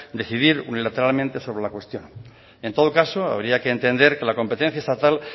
decidir letradamente sobre la cuestión en todo caso habría que entender que la competencia estatal